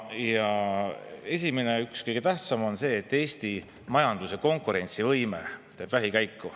Esimene, üks kõige tähtsamaid on see, et Eesti majanduse konkurentsivõime teeb vähikäiku.